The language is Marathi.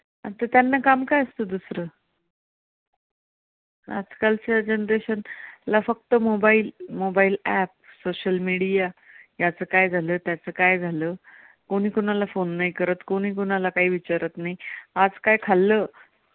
आजकालच्या generation ला फक्त mobile, mobileapp, social media याच काय झालं? त्याच काय झालं? कोणी कोणाला फोन नाही करत, कोणी कोणाला काय विचारत नाही, आज काय खाल्लं?